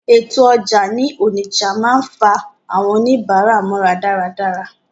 Ètò ọjà ní Onitsha máa ń fa àwọn oníbàárà mọ́ra dáradára.